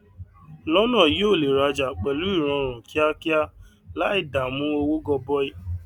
lọnà yìí o lè rajà pẹlú ìrọrùn kíákíá láì dàmú owó gọbọi